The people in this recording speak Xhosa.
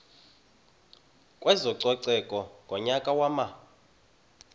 kwezococeko ngonyaka wama